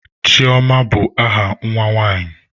Chioma bụ aha nwa nwanyi.